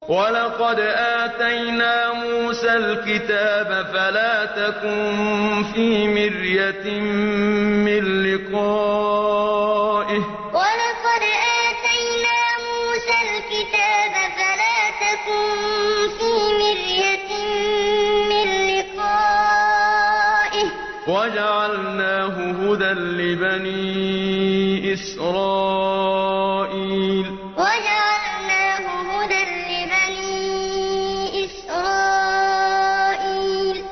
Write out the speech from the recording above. وَلَقَدْ آتَيْنَا مُوسَى الْكِتَابَ فَلَا تَكُن فِي مِرْيَةٍ مِّن لِّقَائِهِ ۖ وَجَعَلْنَاهُ هُدًى لِّبَنِي إِسْرَائِيلَ وَلَقَدْ آتَيْنَا مُوسَى الْكِتَابَ فَلَا تَكُن فِي مِرْيَةٍ مِّن لِّقَائِهِ ۖ وَجَعَلْنَاهُ هُدًى لِّبَنِي إِسْرَائِيلَ